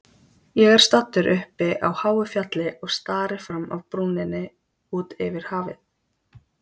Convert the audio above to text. Ég er staddur uppi á háu fjalli og stari fram af brúninni út yfir hafið.